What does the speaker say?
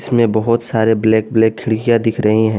इसमें बहोत सारे ब्लैक ब्लैक खिड़कियां दिख रही हैं।